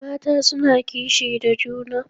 Mata suna kishi da juna.